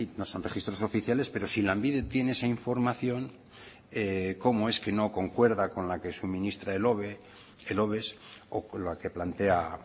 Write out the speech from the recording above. no son registros oficiales pero si lanbide tiene esa información cómo es que no concuerda con la que suministra el oves o con la que plantea